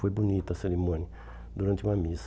Foi bonita a cerimônia, durante uma missa.